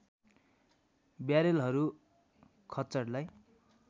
ब्यारेलहरू खच्चडलाई